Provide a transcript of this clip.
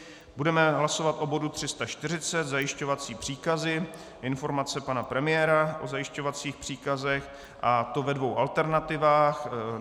Budeme hlasovat o bodu 340, zajišťovací příkazy, informace pana premiéra o zajišťovacích příkazech, a to ve dvou alternativách.